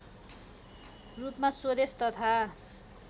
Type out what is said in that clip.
रूपमा स्वदेश तथा